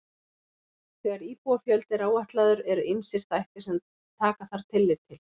Þegar íbúafjöldi er áætlaður eru ýmsir þættir sem taka þarf tillit til.